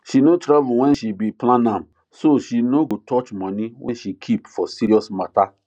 she no travel when she be plan am so she no go touch money wey she keep for serious matter